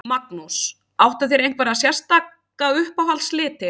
Magnús: Áttu þér einhverja sérstaka uppáhalds liti?